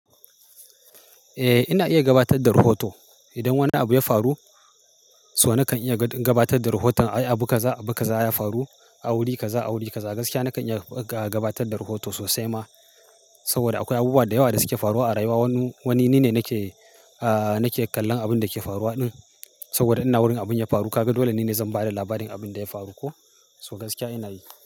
Eh, ina iya gabatar da rahoto. Idan wani abu ya faru, so nakan iya gabatar da rahoton ai abu kaza abu kaza ya faru, a wuri kaza awuri kaza. Gaskiya nakan iya gabatar da rahoto sosai ma, saboda akwai abubuwa da yawa da suke faruwa a rayuwa. Wani ni ne nake, nake kallon abin da ke faruwa din saboda ina wurin abin da ya faru. Kaga dole ni ne zan ba da labarin abin da ya faru ko? So gaskiya ina yi.